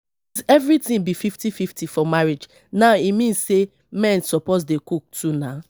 everything be fifty fifty for marriage now e mean say men suppose dey cook too nah